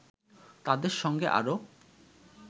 তাদের সঙ্গে আরও